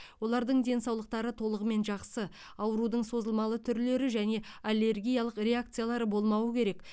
олардың денсаулықтары толығымен жақсы аурудың созылмалы түрлері және аллергиялық реакциялары болмауы керек